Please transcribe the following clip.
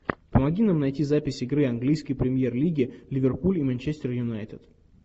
помоги нам найти запись игры английской премьер лиги ливерпуль и манчестер юнайтед